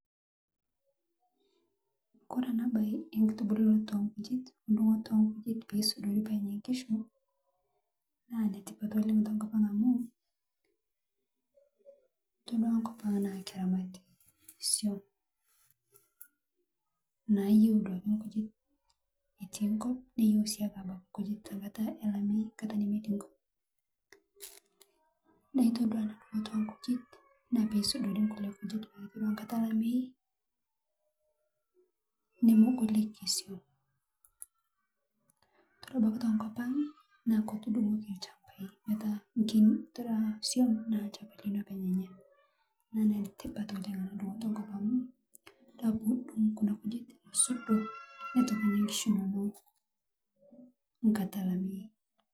Kore ana bai ekitubulunoto ekujet ndung'oto eehe kujet peesudori peenya nkishu , naa netipat oleng tokopang amuu todua nkopang'a naa keramati swuom ,nayeu duake kujet etii nkop neyeu sii abaki kujet tenkata elameii nkata nemetii nkop, naa todua enaa dung'oto eehe kujet naa peisudori nkule kujet pataa koree nkata elamei nemegolik swuom , kore abaki tekopang'a naa ketudung'oki lshambaii metaa kore swuom naa lshamba lino apeny enya naa netipati oleng ndung'oto nkop amuu dua pudong'u kunaa kujet nusudoo netoki enya kuna kishu enonoo nkata elameii.